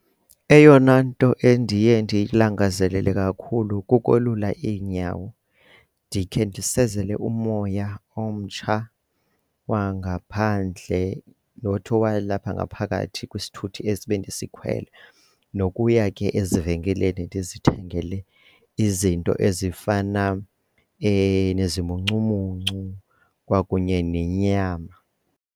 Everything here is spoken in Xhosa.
Eyona nto endiye ndiyilangazelela kakhulu kukolula iinyawo ndikhe ndisezele umoya omtsha wangaphandle not owalapha ngaphaphakathi kwisithuthi esi bendiskhwele nokuya ke ezivenkileni ndizithengele izinto ezifana nezimuncumuncu kwakunye nenyama.